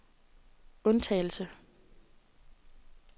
undtagelse